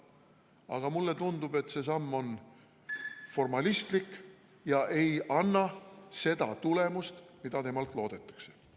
Aga mulle tundub, et see samm on formalistlik ja ei anna seda tulemust, mida temalt loodetakse.